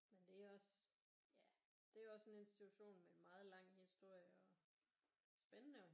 Men det er også ja det er også en institution med meget lang historie og spændende